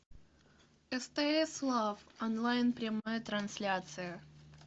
стс лав онлайн прямая трансляция